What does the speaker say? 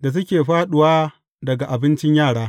da suke fāɗuwa daga abincin yara.